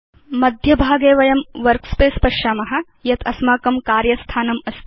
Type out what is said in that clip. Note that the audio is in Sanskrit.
मध्यभागे वयं वर्कस्पेस पश्याम यत् अस्माकं कार्य स्थानमस्ति